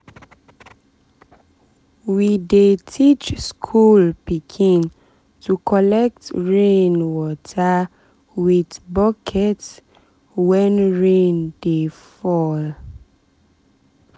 we dey teach school pikin to collect rain water with bucket when rain dey fall.